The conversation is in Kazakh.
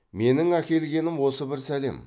менің әкелгенім осы бір сәлем